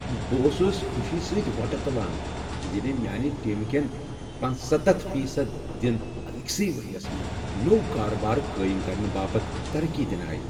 بہٕ اوسُس خوشی سۭتۍ وۄٹہٕ تُلان ییٚلہِ میٛانہِ ٹیٖمہٕ كین پنٔژسَتتھ فیصَد دِن أکِسٕے ؤرۍیَس منز نوٚو کاربار قٲیم کرنہٕ باپتھ ترقی دِنہٕ آیہِ۔